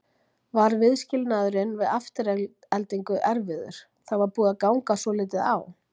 Var viðskilnaðurinn við Aftureldingu erfiður, það var búið að ganga svolítið á?